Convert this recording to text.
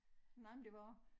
Nej men det var også